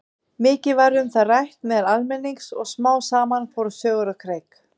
Mikið var um það rætt meðal almennings og smám saman fóru sögur á kreik.